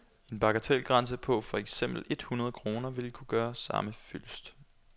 En bagatelgrænse på for eksempel et hundrede kroner ville kunne gøre samme fyldest.